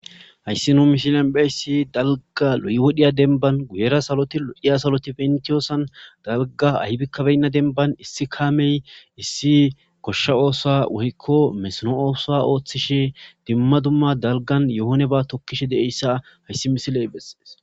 hayssi nuu mishilen beyssi dalga lo7wodhiya denban guyera saloti lodhiya saloti pentiyoosan dalga ahbikkabeynna denban issi kaamey issi koshsha oosa woykko mesno oosa ooththishe dimma dumma dalgan yohone ba tokkishe deeyssa hayssi misiley bessees